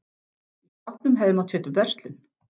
Í skápnum hefði mátt setja upp verslun.